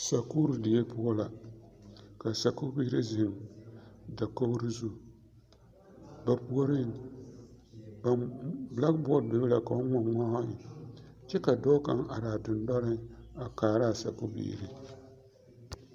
Sakuuri die poɔ la ka sakubiiri zeŋ dakogro zu ba puoriŋ ba blackboard bebe la ka ba ŋma ŋma eŋ kyɛ dɔɔ kaŋ are a dendɔnoɔreŋ a kaara a sakubiiri.